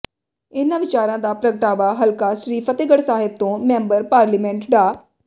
ਇਨ੍ਹਾਂ ਵਿਚਾਰਾ ਦਾ ਪ੍ਰਗਟਾਵਾ ਹਲਕਾ ਸ੍ਰੀ ਫਤਿਹਗੜ੍ਹ ਸਾਹਿਬ ਤੋਂ ਮੈਂਬਰ ਪਾਰਲੀਮੈਂਟ ਡਾ